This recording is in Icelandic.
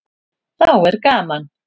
Þá er gaman.